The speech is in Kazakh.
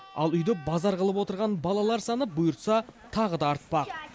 ал үйді базар қылып отырған балалар саны бұйыртса тағы да артпақ